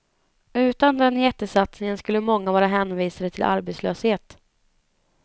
Utan den jättesatsningen skulle många vara hänvisade till arbetslöshet.